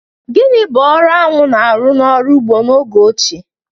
Gịnị bụ ọrụ aṅụ na-arụ n'ọrụ ugbo oge ochie?